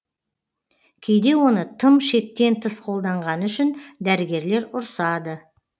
кейде оны тым шектен тыс қолданғаны үшін дәрігерлер ұрсады